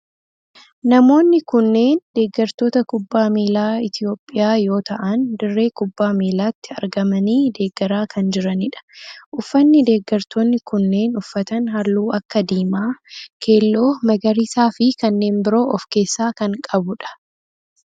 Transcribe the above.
Namoonni kunneen deeggartoota kubbaa miilaa Itiyoophiyaa yoo ta'aan dirree kubbaa miilaatti argamanii deeggaraa kan jiranidha. Uffanni deeggartoonni kunneen uffatan halluu akka diimaa, keelloo, magariisaa fi kanneen biroo of keessaa kan qabudha.